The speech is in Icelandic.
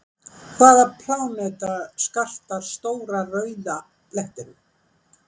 Hvaða pláneta skartar Stóra rauða blettinum?